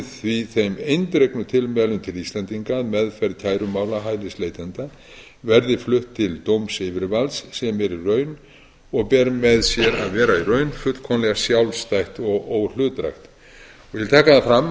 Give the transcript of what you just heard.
því þeim eindregnu tilmælum til íslendinga að meðferð kærumála hælisleitanda verði flutt til dómsyfirvalds sem er í raun og ber með sér að vera í raun fullkomlega sjálfstætt og óhlutdrægt ég vil taka það